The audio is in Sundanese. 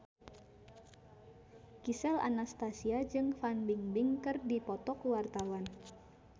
Gisel Anastasia jeung Fan Bingbing keur dipoto ku wartawan